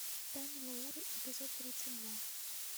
тайна лауры эпизод тридцать два